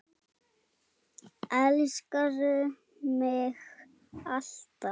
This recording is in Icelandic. Elskaðu mig alt af.